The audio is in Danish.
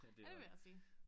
Ja det vil jeg også sige